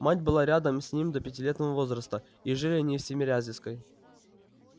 мать была рядом с ним до пятилетнего возраста и жили они на тимирязевской